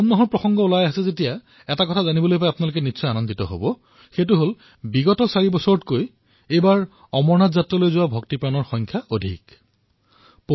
শাওণ মাহৰ কথা উল্লেখ হোৱাৰ সময়ত এই কথা আপোনালোকে জানি সুখী হব যে এইবাৰৰ অমৰনাথ যাত্ৰালৈ যোৱা চাৰিটা বছৰতকৈও সৰ্বাধিক যাত্ৰী গৈছে